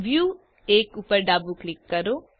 view 1 ઉપર ડાબું click કરો